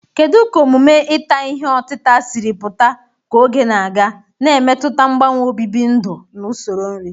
Kedu ka omume ita ihe otita siri pụta ka oge na-aga, na-emetụta mgbanwe obibi ndụ na usoro nri?